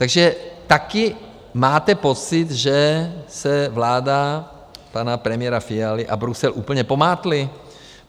Takže také máte pocit, že se vláda pana premiéra Fialy a Brusel úplně pomátly?